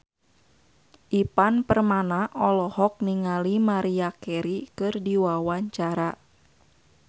Ivan Permana olohok ningali Maria Carey keur diwawancara